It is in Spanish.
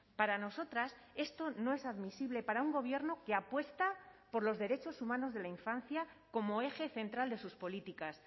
para nosotras esto no es admisible para un gobierno que apuesta por los derechos humanos de la infancia como eje central de sus políticas